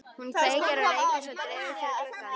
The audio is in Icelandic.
Hún kveikir á reykelsi og dregur fyrir gluggana.